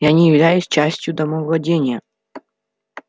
я не являюсь частью домовладения